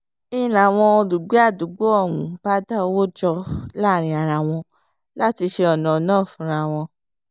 n láwọn olùgbé àdúgbò ọ̀hún bá dá owó jọ láàrin ara wọn láti ṣe ọ̀nà náà fúnra wọn